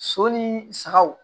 So ni sagaw